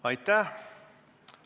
Aitäh!